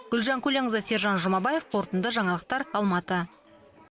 гүлжан көленқызы сержан жұмабаев қорытынды жаңалықтар алматы